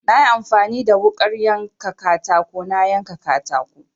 Na yi amfani da wuƙar yanka katako na yanka katako.